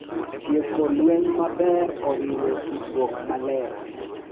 Tieko lweny maber oriwo tudruok maler,